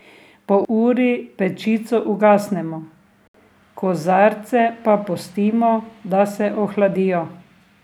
Po uri pečico ugasnemo, kozarce pa pustimo, da se ohladijo.